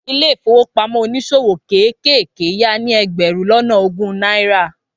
Ilé ìfowópamọ́ oníṣòwò kéékèèké ya ní ẹgbẹ̀rún lọ́nà ogún náírà.